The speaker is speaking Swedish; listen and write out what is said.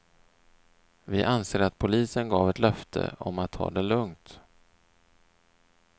Vi anser att polisen gav ett löfte om att ta det lugnt.